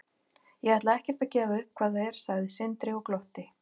Ég ætla ekkert að gefa upp hvað það er, sagði Sindri og glotti.